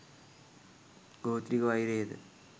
ගෝත්‍රික වෛරය ද